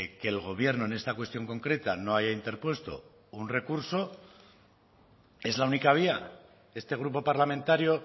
que el gobierno en esta cuestión concreta no haya interpuesto un recurso es la única vía este grupo parlamentario